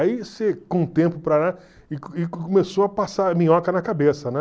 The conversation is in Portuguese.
Aí você, com o tempo começou a passar minhoca na cabeça, né?